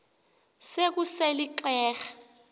se kusel ixheg